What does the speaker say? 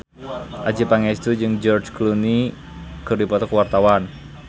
Adjie Pangestu jeung George Clooney keur dipoto ku wartawan